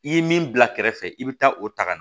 I ye min bila kɛrɛfɛ i bɛ taa o ta ka na